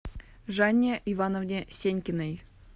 жанне ивановне сенькиной